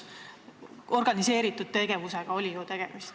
Tegemist oli ju organiseeritud tegevusega.